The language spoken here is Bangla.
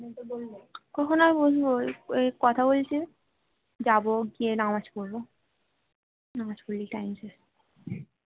কখন আর বসবো এই কথা বলছি যে যাবো গিয়ে নামাজ পড়বো নামাজ পড়লেই time শেষ